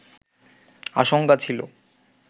আশঙ্কা ছিলো